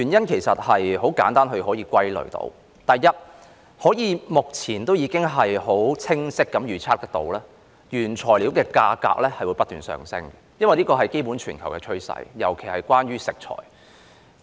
其實很容易可以歸納出原因：第一，目前已可清晰地預測，原材料的價格會不斷上升，因為這是全球的基本趨勢，尤以食材為甚。